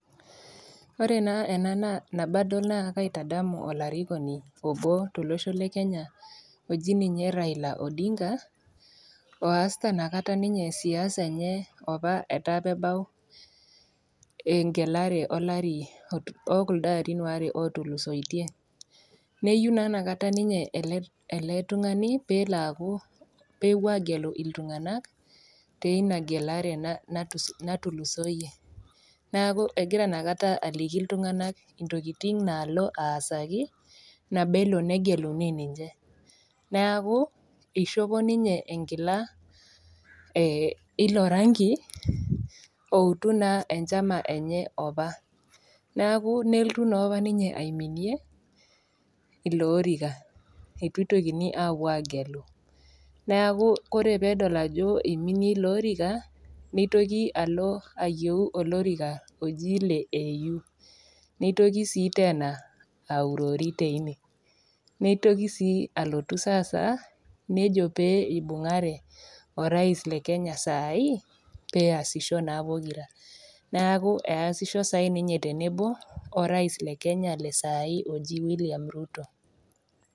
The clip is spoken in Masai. Ore naa ena tenadol naa aitedemu olarikoni obo tolosho le Kenya oji ninye Raila Odinga, oasita inakata opa ninye siasa enye opa etaa peebau eng'elare olari, oo kuldo arin aare ootulusoitie. Neyiou naa inakata ninye ele tung'ana pee elo aaku pewuoi agelu iltung'ana teina gelare naatulusoiye, neaku egira inaikata aliki iltung'ana intokitin naalo aasaki nabo elo negeluni ninche, neaku eishopo ninye enkila e ilo rangi outu naa enchama enye opa, neaku nelotu naa opa ninye aiminie ilo orika, eitu eitokini aapuo aagelu neaku ore pee edol ajo eiminie iloorika, neitoki alo ayieu olorika oji ele AU neitoki sii teena aurori teine, neitoki sii alotu saasa nejo pee eibung'are orais Le Kenya saai, peasisho naa pokira, neaku easisho saai ninye tenebo orais Le Kenya le saai oji William Ruto.